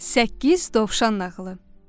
Səkkiz dovşan nağılı.